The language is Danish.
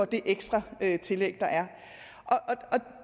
det ekstra tillæg der er